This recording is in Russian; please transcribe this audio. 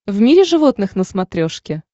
в мире животных на смотрешке